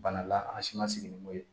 Bana la an si ma sigi ni mun ye